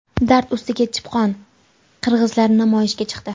Dard ustiga chipqon: qirg‘izlar namoyishga chiqdi.